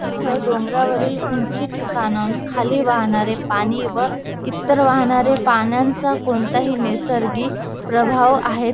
इथ डोंगरावरील ऊंची ठिकाण खाली वाहणारे पाणी व इतर वाहणारे पाण्यांचा कोणताही नैसर्गिक प्रभाव आहेत.